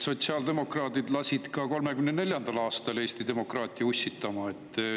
Sotsiaaldemokraadid lasid ka 1934. aastal Eesti demokraatia ussitama.